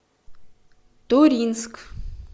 туринск